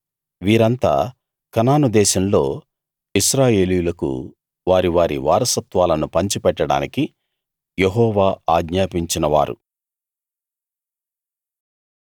వీరంతా కనాను దేశంలో ఇశ్రాయేలీయులకు వారి వారి వారసత్వాలను పంచిపెట్టడానికి యెహోవా ఆజ్ఞాపించినవారు